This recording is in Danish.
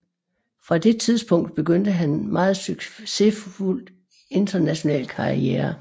Fra det tidspunkt begyndte han en meget succesfuld international karriere